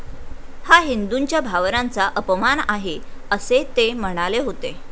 हा हिंदूंच्या भावनांचा अपमान आहे, असे ते म्हणाले होते.